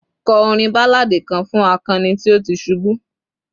kọ orin balladi kan fún akani tí o ti subu